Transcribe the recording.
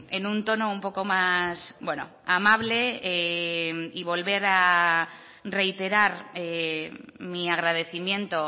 en un tono un poco más amable y volver a reiterar mi agradecimiento